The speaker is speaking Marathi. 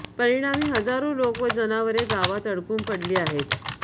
परिणामी हजारो लोक व जनावरे गावांत अडकून पडली आहेत